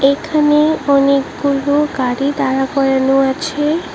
এখানে অনেকগুলো গাড়ি দাঁড়া করানো আছে।